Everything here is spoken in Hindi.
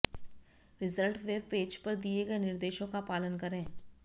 रिजल्ट वेब पेज पर दिए गए निर्देशों का पालन करें